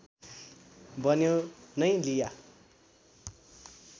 बन्यो नै लिया